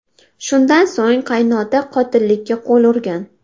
Shundan so‘ng qaynota qotillikka qo‘l urgan.